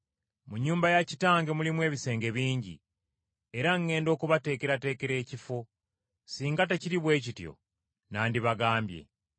Mu nnyumba ya Kitange mulimu ebisenge bingi, era ŋŋenda okubateekerateekera ekifo. Singa tekiri bwe kityo nandibagambye.